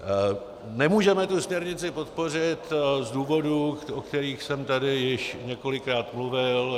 Nemůžeme tu směrnici podpořit z důvodů, o kterých jsem tady již několikrát mluvil.